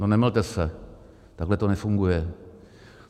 No nemylte se, takhle to nefunguje.